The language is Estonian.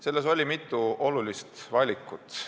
Selles oli mitu olulist valikut.